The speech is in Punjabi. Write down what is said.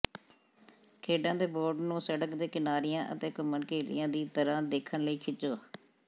ਖੇਡਾਂ ਦੇ ਬੋਰਡ ਨੂੰ ਸੜਕ ਦੇ ਕਿਨਾਰਿਆਂ ਅਤੇ ਘੁੰਮਣਘੇਲੀਆਂ ਦੀ ਤਰ੍ਹਾਂ ਦੇਖਣ ਲਈ ਖਿੱਚੋ